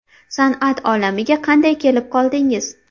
San’at olamiga qanday kelib qoldingiz?